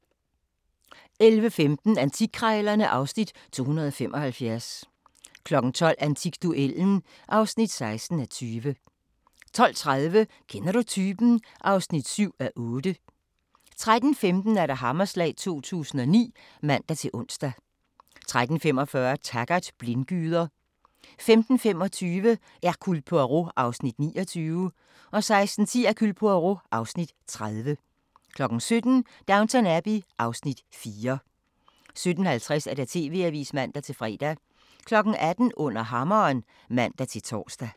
11:15: Antikkrejlerne (Afs. 275) 12:00: Antikduellen (16:20) 12:30: Kender Du Typen? (7:8) 13:15: Hammerslag 2009 (man-ons) 13:45: Taggart: Blindgyder 15:25: Hercule Poirot (Afs. 29) 16:10: Hercule Poirot (Afs. 30) 17:00: Downton Abbey (Afs. 4) 17:50: TV-avisen (man-fre) 18:00: Under Hammeren (man-tor)